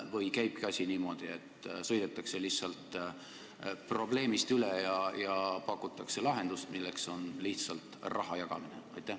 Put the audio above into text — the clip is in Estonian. Või käibki asi niimoodi, et sõidetakse probleemist üle ja pakutakse lahendust, milleks on lihtsalt raha jagamine?